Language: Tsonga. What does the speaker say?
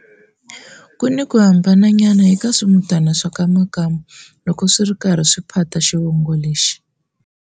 Kuni ku hambananyana eka swi mutana swa ka Makamu loko swiri karhi swi phata xivongo lexi.